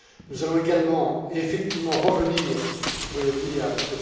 Nous allons également et effectivement revenir, je le dis à M.